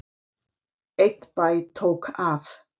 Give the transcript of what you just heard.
Einn bæ tók af.